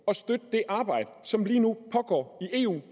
og støtte det arbejde som lige nu pågår i eu